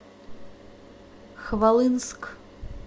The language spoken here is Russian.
хвалынск